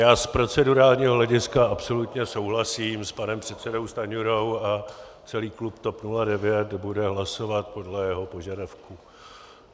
Já z procedurálního hlediska absolutně souhlasím s panem předsedou Stanjurou a celý klub TOP 09 bude hlasovat podle jeho požadavku.